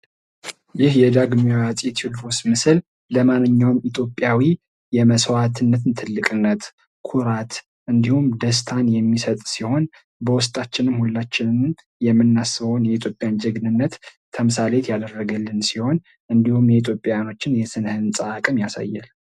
ይህ የዳግማዊ አፄ ቴዎድሮስ ምስል ለማንኛውም ኢትዮጲያዊ የመስዋዕትነትን ትልቅነት፥ ኩራት እንዲሁም ደስታን የሚሰጥ ሲሆን በውስጣችን ሁላችንም የምናስበውን የኢትዮጵያንን ጀግንነት ተምሳሌት ያደረገልን ሲሆን እንዲሁም የኢትዮጵያውያንን የስነ ህንፃ አቅም ያሳያል።